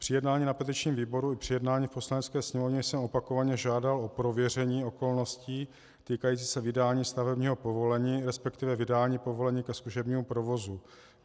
Při jednání na petičním výboru i při jednání v Poslanecké sněmovně jsem opakovaně žádal o prověření okolností týkajících se vydání stavebního povolení, respektive vydání povolení ke zkušebnímu provozu.